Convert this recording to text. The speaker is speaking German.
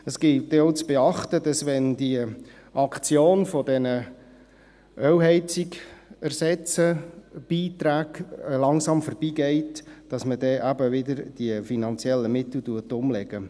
Es gilt dann auch zu beachten, dass wenn die Aktion dieser Ölheizungs-Ersatzbeiträge langsam vorbeigeht, man eben dann die finanziellen Mittel wieder umlegt.